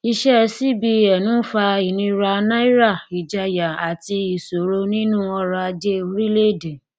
iṣẹ cbn ń fa ìníra náírà ìjáàyà àti àti ìṣòro nínú ọrọ ajé orílẹèdè